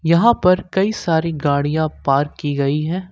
यहां पर कई सारी गाड़ियां पार्क की गई है।